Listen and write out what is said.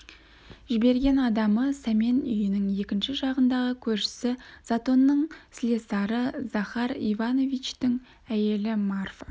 жіберген адамы сәмен үйінің екінші жағындағы көршісі затонның слесары захар ивановичтің әйелі марфа